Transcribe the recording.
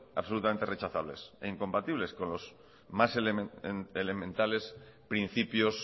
absolutamente rechazables e incompatibles con los más elementales principios